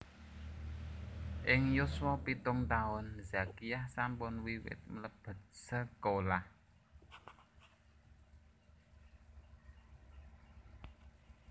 Ing yuswa pitung taun Zakiah sampun wiwit mlebet sekolah